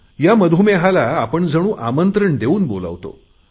या मधुमेहाला आपण जणू आमंत्रण देऊन बोलावतो